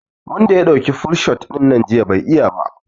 Wanda ya dauki full shot dinnan jiya bai iya ba